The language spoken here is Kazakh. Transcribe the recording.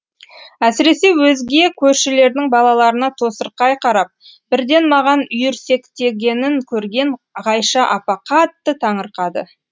әсіресе өзге көршілердің балаларына тосырқай қарап бірден маған үйірсектегенін көрген ғайша апа қатты таңырқады